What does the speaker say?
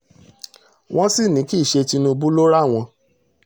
wọ́n sì ní kì í ṣe tinúbù ló ran àwọn